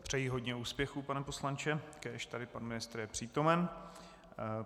Přeji hodně úspěchů, pane poslanče, kéž tady pan ministr je přítomen.